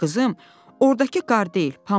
"Qızım, ordakı qar deyil, pambıqdır."